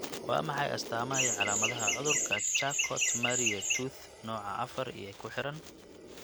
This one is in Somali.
Waa maxay astaamaha iyo calaamadaha cudurka Charcot Marie Tooth nooca afar ee ku xidhan?